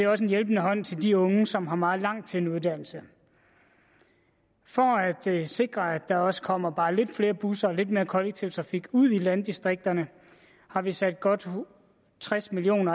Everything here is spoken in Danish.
også en hjælpende hånd til de unge som har meget langt til en uddannelse for at sikre at der også kommer bare lidt flere busser og lidt mere kollektiv trafik ud i landdistrikterne har vi sat godt tres million